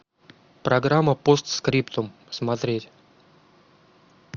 программа постскриптум смотреть